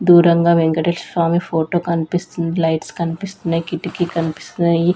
దూరంగా వెంకటేశ్వర స్వామి ఫోటో కనిపిస్తుంది లైట్స్ కనిపిస్తున్నాయి కిటికీ కనిపిస్తున్నాయి.